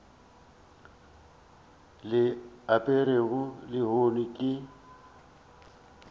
o le aperego lehono ke